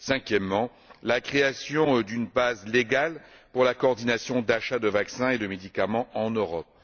Cinquièmement, la création d'une base légale pour la coordination des achats de vaccins et de médicaments en Europe.